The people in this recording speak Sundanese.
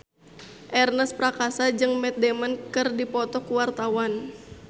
Ernest Prakasa jeung Matt Damon keur dipoto ku wartawan